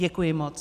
Děkuji moc.